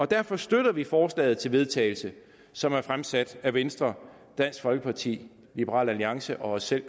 derfor støtter vi forslaget til vedtagelse som er fremsat af venstre dansk folkeparti liberal alliance og os selv